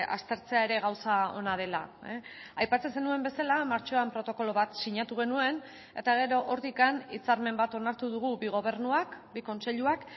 aztertzea ere gauza ona dela aipatzen zenuen bezala martxoan protokolo bat sinatu genuen eta gero hortik hitzarmen bat onartu dugu bi gobernuak bi kontseiluak